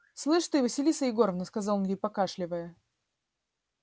слышь ты василиса егоровна сказал он ей покашливая